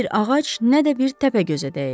Nə bir ağac, nə də bir təpə gözə dəyir.